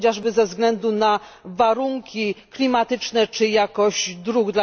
chociażby i ze względu na warunki klimatyczne czy jakość dróg.